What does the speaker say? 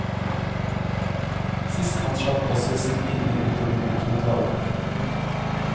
Sistemann slapp også å sitte inne utover utholdt varetekt.